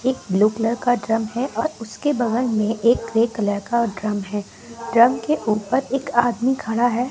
एक blue colour का drum है और उसके बगल में एक ग्रे कलर का ड्रम है ड्रम के ऊपर एक आदमी खरा है।